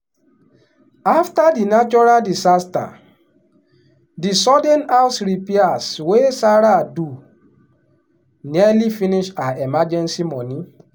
after the natural disaster the sudden house repairs wey sarah do nearly finish her emergency money.